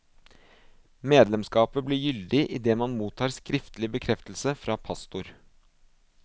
Medlemsskapet blir gyldig idet man mottar skriftlig bekreftelse fra pastor.